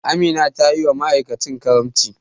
Amina tayiwa ma'aikacin karamci.